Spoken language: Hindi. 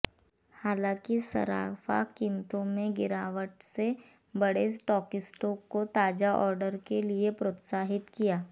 हालांकि सर्राफा कीमतों में गिरावट से बड़े स्टॉकिस्टों को ताजा ऑर्डर के लिए प्रोत्साहित किया